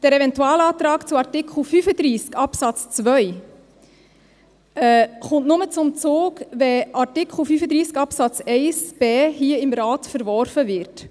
Der Eventualantrag zu Artikel 35 Absatz 2 kommt nur zum Zug, wenn Artikel 35 Absatz 1 Buchstabe b hier im Rat verworfen wird.